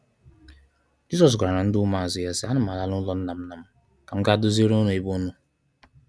Jizọs gwara ndi ụmụazụ ya si, “a na m ala n'ulọ nna m nna m ka m ga doziere unu ebe unu.